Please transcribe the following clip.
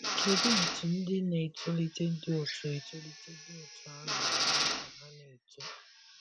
Kedụ etú ndị na - etolite dị otú etolite dị otú ahụ na - eme ka ha na - eto?